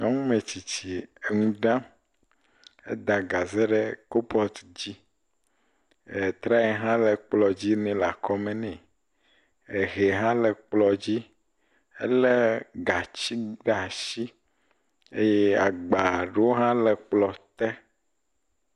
Nyɔnu metsitsi le nu ɖaa. Eda gaze ɖe kopɔt dzi etraye hã le kplɔ dzi nɛ le exɔ me nɛ. Ehea hã le kplɔ dzi. Ele gatsi ɖe asi eye agba ɖowo hã le kplɔ te.